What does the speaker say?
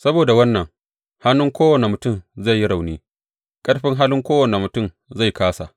Saboda wannan, hannun kowane mutum zai yi rauni, ƙarfin halin kowane mutum zai kāsa.